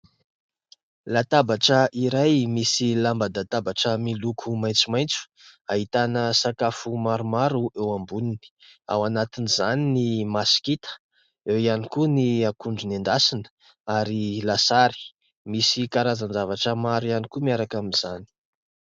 Latabatra iray misy lamban-databatra miloko maitsomaitso, ahitana sakafo maromaro eo amboniny. Ao anatin'izany ny masikita, eo ihany koa ny akondro nendasina ary lasary. Misy karazan-javatra maro ihany koa miaraka amin'izany.